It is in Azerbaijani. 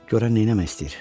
Görən nə eləmək istəyir?